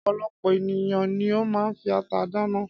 Ọ̀pọ̀lọpọ̀ ènìyàn ni ó máa ń fi ata dáná.